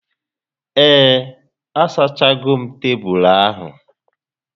Ee, a sachago m tebulu ahu